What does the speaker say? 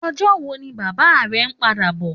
Òjò wó ni bàbá rè n pàdá bò?